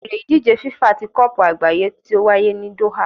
Eré ìdíje FIFA tí kopu àgbáyé tó wáyé ní Doha